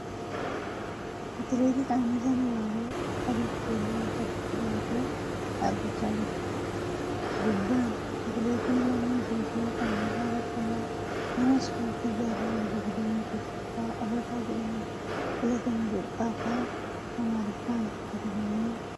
Atileet Qananiisaan abaabaoo adii fi keelloo harkatti baatee dhaabbachaa jira. Gubbaan ' Atileetiin Lammii Itiyoophiyaa Qananiisaa Baqqalaa nama Ispoortii jaarraa digdamii tokkoffaa Afrikaa jedhamuun Filatame ' jedhu Afaan Amaariffaan katabamee argama.